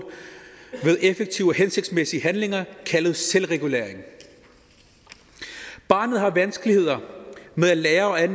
ved effektive og hensigtsmæssige handlinger kaldet selvregulering barnet har vanskeligheder med at lære at